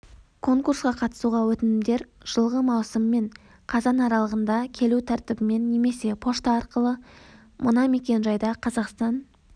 конкурсқа қатысуға өтінімдер жылғы маусым мен қазан аралығында келу тәртібімен немесе пошта арқылы мына мекен-жайда қазақстан